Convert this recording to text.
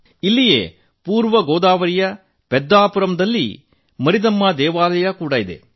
ಇಲ್ಲಿಯೇ ಪೂರ್ವ ಗೋದಾವರಿಯ ಪೆದ್ದಾಪುರಂದಲ್ಲಿ ಮಾರಿದಮ್ಮಾ ದೇವಾಲಯ ಕೂಡಾ ಇದೆ